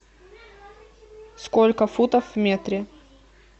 сколько футов в метре